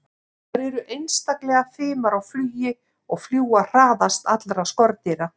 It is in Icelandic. Þær eru einstaklega fimar á flugi og fljúga hraðast allra skordýra.